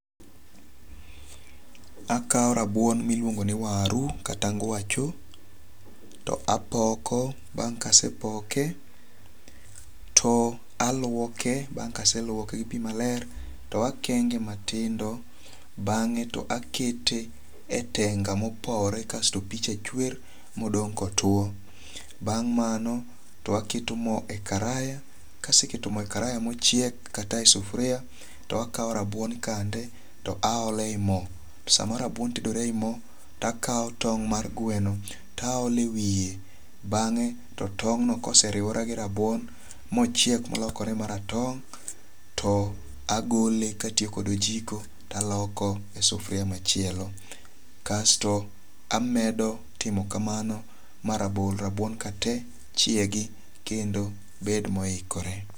Akawo rabuon miluongo ni waru kata ngwacho. To apoko bang' kasepoke to aluoke. Bang' kaseluoke gi pi maler to akenge matindo. Bang'e to akete e tenga mopowre kasto pi cha chwer modong' kotuo. Bang' mano to aketo mo e karaya. Kaseketo mo e karaya mochiek kata e sufria to akaw rabuon kande to aole yi mo. To sama rabuon tedore e yi mo to akaw tong' mar gwen taole wiye. Bang'e to tong' no koseriwore gi rabuon mchiek molokore maratong' to agole katiyo kod ojiko taloko e sufria machielo. Kasto amedo timo kamano marabuon ka te chiegi kendo bed moikore.